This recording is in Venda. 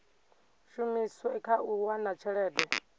shumiswe kha u wana tshelede